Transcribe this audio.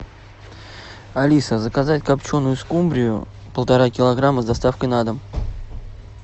алиса заказать копченую скумбрию полтора килограмма с доставкой на дом